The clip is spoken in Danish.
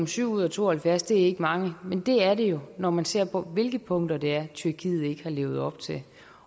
syv ud af to og halvfjerds ikke er mange men det er det når man ser på hvilke punkter det er tyrkiet ikke har levet op til